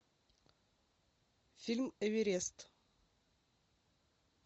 фильм эверест